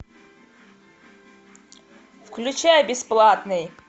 включай бесплатный